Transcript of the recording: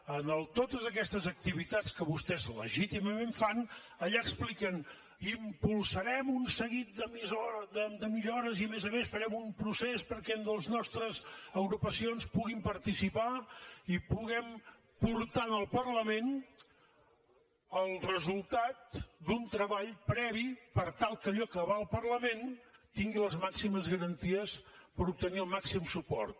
en totes aquestes activitats que vostès legítimament fan allà expliquen impulsarem un seguit de millores i a més a més farem un procés perquè les nostres agrupacions puguin participar i puguem portar al parlament el resultat d’un treball previ per tal que allò que va al parlament tingui les màximes garanties per obtenir el màxim suport